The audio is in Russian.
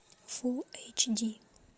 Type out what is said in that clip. фулл эйч ди